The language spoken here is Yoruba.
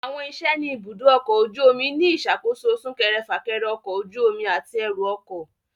Àwọn iṣẹ́ ni ibùdó ọkọ̀ ojú omi ni ìṣàkóso súnkẹrẹ - fákẹrẹ ọkọ̀ ojú omi àti ẹrù ọkọ̀